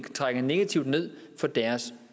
trækker negativt ned for deres